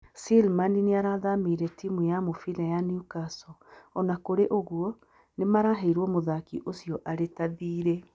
Slimani nĩ aathamĩire timu ya mũbira ya New Castle, O na kũrĩ ũguo, nĩ maraheirwo mũthaki ũcio arĩ ta thiirĩ.